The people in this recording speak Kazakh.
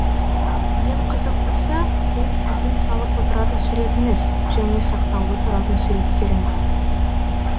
ең қызықтысы ол сіздің салып отыратын суретіңіз және сақтаулы тұратын суреттерің